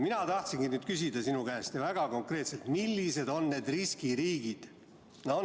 Mina tahangi küsida sinu käest väga konkreetselt, millised on need riskiriigid.